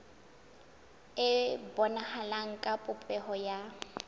e bonahala ka popeho ya